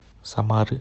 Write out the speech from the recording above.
самары